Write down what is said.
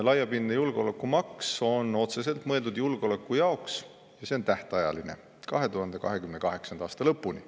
" Laiapindne julgeolekumaks on otseselt mõeldud julgeoleku jaoks ja see on tähtajaline, 2028. aasta lõpuni.